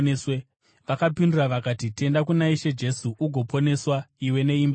Vakapindura vakati, “Tenda kuna She Jesu ugoponeswa, iwe neimba yako.”